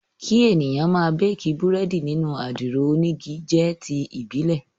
Kí èèyàn máa béèkí Búrẹ́dì nínú àdìro onígi jẹ́ ti ìbílẹ̀